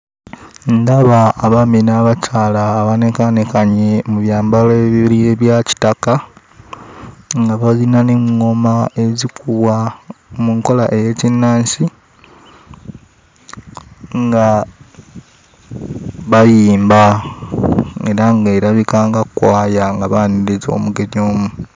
Ndaba abaami n'abakyala abanekaanekanye mu byambalo ebya kitaka, nga balina n'eŋŋoma ezikubwa mu nkola ey'ekinnansi, nga bayimba era ng'erabika nga kkwaya nga baaniriza omugenyi omu.